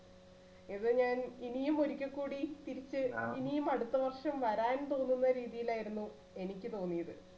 ഇത് ഞാൻ ഇനിയും ഒരിക്കൽ കൂടി തിരിച്ച് ഇനിയും അടുത്ത വർഷം വരാൻ പോകുന്ന രീതിയിലായിരുന്നു എനിക്ക് തോന്നിയത്.